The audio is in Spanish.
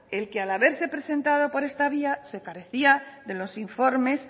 el que haberse presentado por esta vía se carecía de los informes